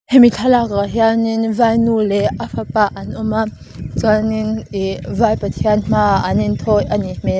hemi thlalakah hianin vainu leh a fapa an awm a chuanin ih vai pathian hmaah an inthawi a nih hmel.